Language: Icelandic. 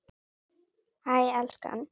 Hæ elskan!